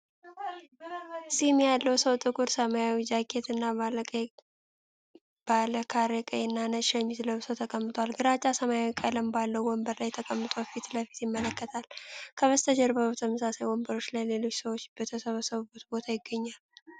ጺም ያለው ሰው ጥቁር ሰማያዊ ጃኬት እና ባለ ካሬ ቀይ እና ነጭ ሸሚዝ ለብሶ ተቀምጧል። ግራጫ ሰማያዊ ቀለም ባለው ወንበር ላይ ተቀምጦ ፊት ለፊት ይመለከታል። ከበስተጀርባው በተመሳሳይ ወንበሮች ላይ ሌሎች ሰዎች በተሰበሰቡበት ቦታ ይገኛል።